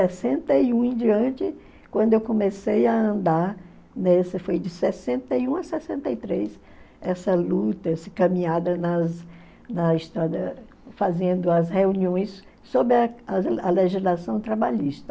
e um em diante, quando eu comecei a andar nessa, foi de sessenta e um a sessenta e três, essa luta, essa caminhada nas na estrada, fazendo as reuniões sob a legislação trabalhista.